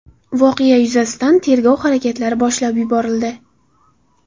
Voqea yuzasidan tergov harakatlari boshlab yuborildi.